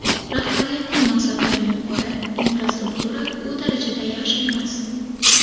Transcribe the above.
Rahbariyatning maqsadlari yuqori, infrastruktura u darajada yaxshi emas.